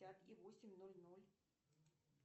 пять и восемь ноль ноль